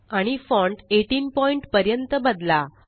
आणि font 18 point पर्यंत बदला